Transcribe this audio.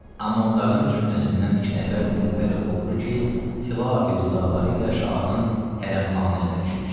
Amma onların cümləsindən iki nəfər dilbər Xubru ki, xilafi rizaqları ilə şahın hərəmxanasına düşmüşdülər.